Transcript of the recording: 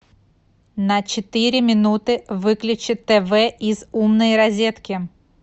на четыре минуты выключи тв из умной розетки